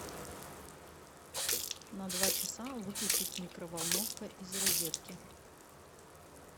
на два часа выключить микроволновка из розетки